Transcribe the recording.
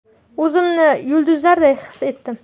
O‘zimni yulduzlarday his etdim”.